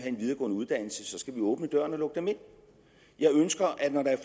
en videregående uddannelse så skal åbne døren og lukke dem ind jeg ønsker